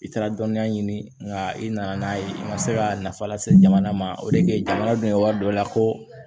I taara dɔnniya ɲini nka i nana n'a ye i ma se ka nafa lase jamana ma o de ke jamana dun ka wari dɔ la ko